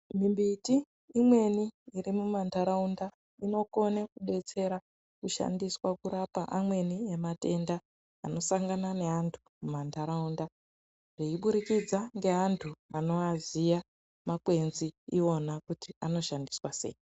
Mimbiti mimweni irimumantaraunda inokone kushandiswa kurapa amweni ematenda anosangana neantu mumantaraunda zveiburikidza neantu vanomaziva makwenzi iwona kuti anoshandiswa sei .